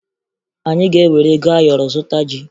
Anyị ga-ewere ego ayọrọ zụta ji